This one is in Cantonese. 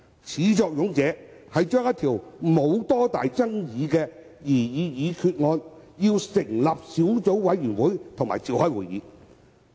始作俑者就兩項沒有多大爭議性的擬議決議案成立小組委員會並召開會議。